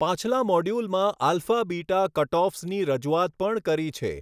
પાછલા મોડ્યૂલમાં alpha beta કટઑફ્સની રજૂઆત પણ કરી છે.